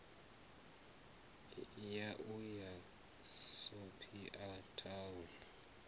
ya u ya sophia town